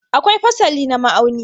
Akwai fasali na ma'auni.